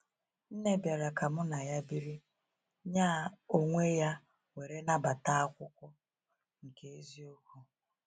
Nne bịara ka mụ na ya biri, nya oweeya were nabata akwụkwọ nke eziokwu.